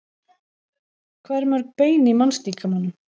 hvað eru mörg bein í mannslíkamanum